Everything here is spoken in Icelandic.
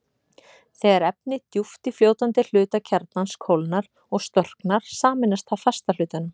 Þegar efni djúpt í fljótandi hluta kjarnans kólnar og storknar, sameinast það fasta hlutanum.